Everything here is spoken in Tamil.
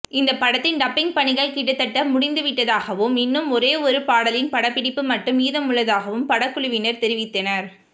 இந்த படத்தின் டப்பிங் பணிகள் கிட்டத்தட்ட முடிந்துவிட்டதாகவும் இன்னும் ஒரே ஒரு பாடலின் படப்பிடிப்பு மட்டும் மீதமுள்ளதாகவும் படக்குழுவினர் தெரிவித்தனர்